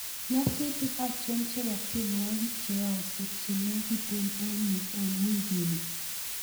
Nyasutik achon chebo tienwogik cheyaaksei chenegiten ak yu en wikini